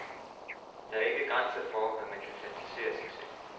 Der er ikke grænser for, hvad man kan fantasere sig til.